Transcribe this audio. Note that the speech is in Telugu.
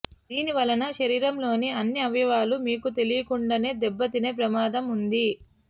దీనివలన శరీరంలోని అన్ని అవయవాలు మీకు తెలియకుండానే దెబ్బతినే ప్రమాదం వుంది